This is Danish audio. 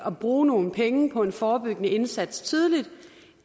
at bruge nogle penge på en forebyggende indsats tidligt